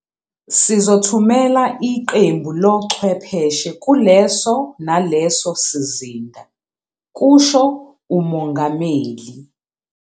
"Sizothumela iqembu lochwepheshe kuleso naleso sizinda," kusho uMongameli.